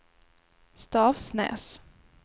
Stavsnäs